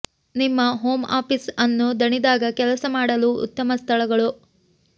ನಿಮ್ಮ home office ಅನ್ನು ದಣಿದಾಗ ಕೆಲಸ ಮಾಡಲು ಉತ್ತಮ ಸ್ಥಳಗಳು